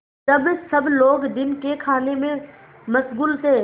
जब सब लोग दिन के खाने में मशगूल थे